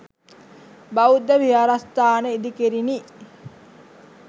බෞද්ධ විහාරස්ථාන ඉදිකෙරිණි.